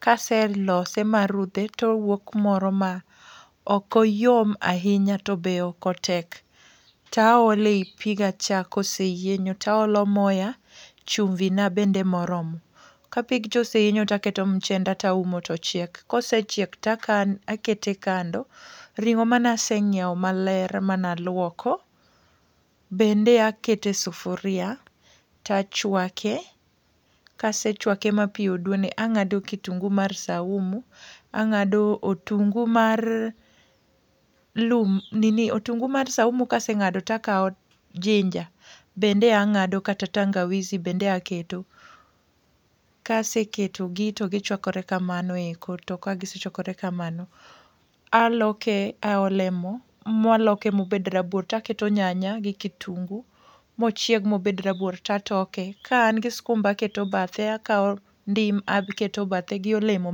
Kase lose marudhe towuok moro ma okoyom ahinya to be ok otek. Taole i piga cha koseyienyo taolo moya, chumvi na bende moromo. Ka pigcha oseyienyo taketo mchenda taumo tochiek, kosechiek takan takete kando. Ring'o manaseng'iewo maler mana luoko, bende akete sufuria tachwake. Kasechwake ma pi oduone ang'ado kitungu mar saumu, ang'ado otungu mar saumu. Otungu mar lum nini, otungu mar saumu bende ang'ado kata tangawizi bende aketo. Kaseketogi to gichwakore kamano eko to ka gisechwakore kamano, aloke aole mo. Mwaloke mobed rabuor taketo nyanya gi kitungu, mochieg mobed rabuor tatoke. Ka an gi skumba aketo bathe, akawo ndim aketo bathe gi olemo ma.